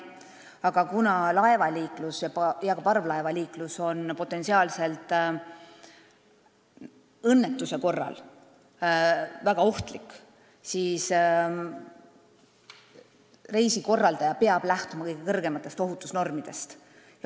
Aga kuna laevaliiklus ja ka parvlaevaliiklus on potentsiaalse õnnetuse korral väga ohtlik, siis reisikorraldaja peab lähtuma kõige kõrgematest ohutusnormidest.